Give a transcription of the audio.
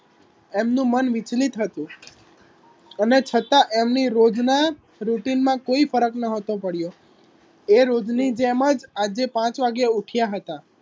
એમનુ મન વિચલિત હતુ અને છતા એમની રોજના રુટિનમા કોઈ ફરક નહતો પડીયો એ રોજની જેમ જ આજે પાંચ વાગ્યે ઉઠયા હતા